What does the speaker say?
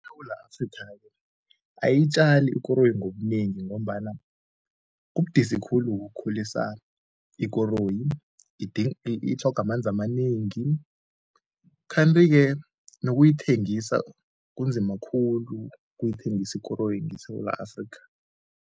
ISewula Afrika-ke ayiyitjali ikoroyi ngobunengi ngombana kubudisi khulu-ke ukukhulisa ikoroyi, itlhoga amanzi amanengi kanti-ke nokuyithengisa kunzima khulu ukuyithengisa ikoroyi ngeSewula Afrika.